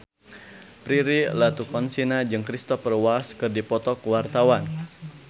Prilly Latuconsina jeung Cristhoper Waltz keur dipoto ku wartawan